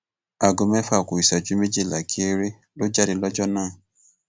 aago mẹfà ku ìṣẹjú méjìlá geere ló jáde lọjọ náà